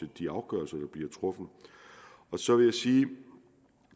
de afgørelser der bliver truffet så vil jeg sige